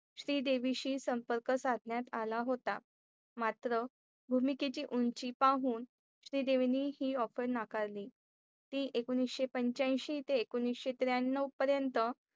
श्रीदेवीची संपर्क साधण्यात आला होता. मात्र भूमी के ची उंची पाहून श्रीदेवीने ही offer नाकार ते एकोनिशे पंच्याऐंशी ते एकोनिशे त्र्याण्णव परेनत